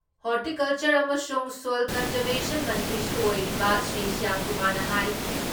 horticulture ꯑꯃꯁꯨꯡ soil conservation ꯃꯟꯇ꯭ꯔꯤꯁꯨ ꯑꯣꯏꯔꯤꯕ ꯁ꯭ꯔꯤ ꯁ꯭ꯌꯥꯝꯀꯨꯃꯥꯔꯅ ꯍꯥꯏ